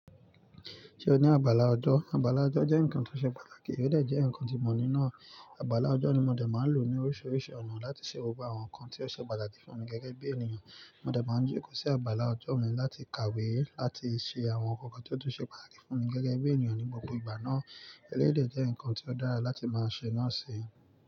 Ṣé o ní abala ọjọ́? Abala ọjọ́ jẹ́ ǹkan tó ṣe pàtàkì, ó dẹ jẹ́ ǹkan ti imọ̀ní náà. Abala ọjọ́ ni mo dẹ máa ń lò ní oríṣiríṣi ọ̀nà láti ṣe gbogbo àwọn nǹkan tí ó ṣe pàtàkì fún mi gẹ́gẹ́ bí ènìyàn. Mo dẹ máa ń jo ko sí abala ọjọ́ mi láti kàwé, láti ṣe àwọn nkan kan ti ó tún ṣe pàtàkì fún mi gẹ́gẹ́ bí ènìyàn nígbàkúùgbà náà, elédè jẹ́ nǹkan tí ó dára láti máa ṣe náà sì.